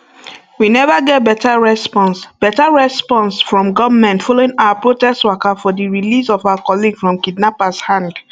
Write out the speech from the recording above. we neva get beta response beta response from goment following our protest waka for di release of our colleague from kidnappers hand